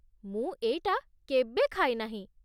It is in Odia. ମୁଁ ଏଇଟା କେବେ ଖାଇନାହିଁ ।